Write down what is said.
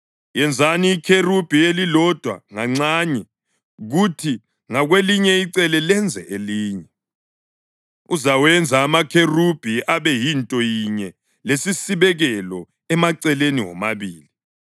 Yenzani ikherubhi elilodwa nganxanye kuthi ngakwelinye icele lenze elinye, uzawenza amakherubhi abe yinto yinye lesisibekelo emaceleni womabili.